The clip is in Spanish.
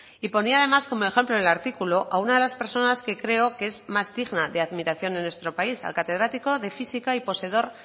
y ponía además como ejemplo en el artículo a una de las personas que creo que es más digna de admiración en nuestro país al catedrático de física y poseedor